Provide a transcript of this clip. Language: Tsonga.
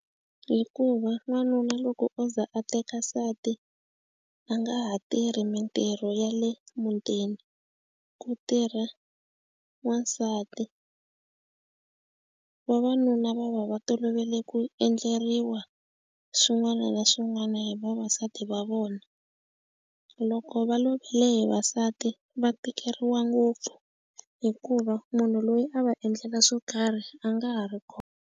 Hikuva n'wanuna loko o ze a teka nsati a nga ha tirhi mitirho ya le mutini ku tirha n'wansati vavanuna va va va tolovele ku endleriwa swin'wana na swin'wana hi vavasati va vona loko va lovele hi vavasati va tikeriwa ngopfu hikuva munhu loyi a va endlela swo karhi a nga ha ri kona.